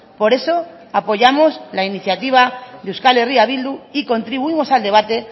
por eso apoyamos la iniciativa de euskal herria bildu y contribuimos al debate